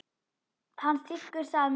Hann þiggur það með þökkum.